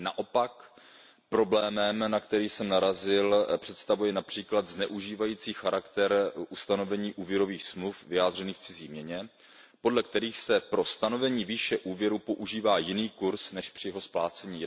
Naopak, problém, na který jsem narazil, představuje například zneužívající charakter ustanovení úvěrových smluv vyjádřených v cizí měně, podle kterých se pro stanovení výše úvěru používá jiný kurz než při jeho splácení.